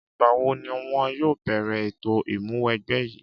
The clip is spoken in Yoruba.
Ìgbà wo ni wọ́n yóò bẹ̀rẹ̀ ètò ìmúwẹgbẹ́ yìí?